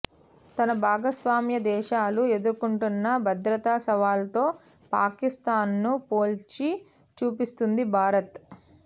తన భాగస్వామ్య దేశాలు ఎదుర్కొంటున్న భద్రతా సవాళ్లతో పాకిస్తాన్ను పోల్చి చూపిస్తోంది భారత్